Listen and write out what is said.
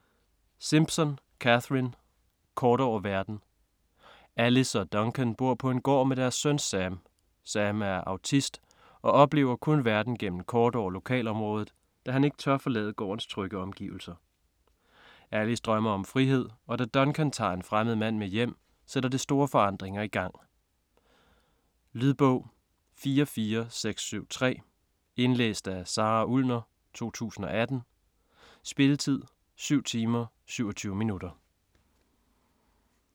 Simpson, Catherine: Kort over verden Alice og Duncan bor på en gård med deres søn Sam. Sam er autist og oplever kun verden gennem kort over lokalområdet, da han ikke tør forlade gårdens trygge omgivelser. Alice drømmer om frihed, og da Duncan tager en fremmed mand med hjem, sætter det store forandringer i gang. Lydbog 44673 Indlæst af Sara Ullner, 2018. Spilletid: 7 timer, 27 minutter.